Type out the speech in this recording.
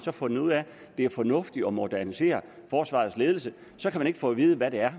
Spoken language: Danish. har fundet ud af at det er fornuftigt at modernisere forsvarets ledelse så kan vi ikke få at vide hvad det er